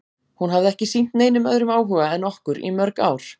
Hún hafði ekki sýnt neinum öðrum áhuga en okkur í mörg ár.